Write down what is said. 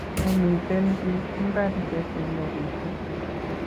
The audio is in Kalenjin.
Mamiten pik imbar che semberishe